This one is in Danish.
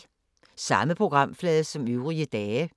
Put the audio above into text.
Samme programflade som øvrige dage